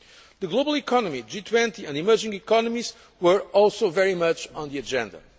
Forum. The global economy, the G20 and emerging economies were also very much on the agenda.